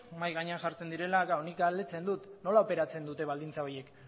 mahai gainean jartzen direla nik galdetzen dut nola operatzen dute baldintza horiek